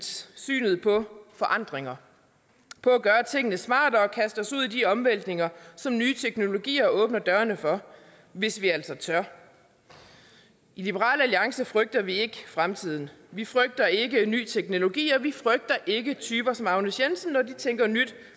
synet på forandringer på at gøre tingene smartere og kaste os ud i de omvæltninger som nye teknologier åbner dørene for hvis vi altså tør i liberal alliance frygter vi ikke fremtiden vi frygter ikke ny teknologi og vi frygter ikke typer som agnes jensen når de tænker nyt